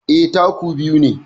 Eh, taku biyu ne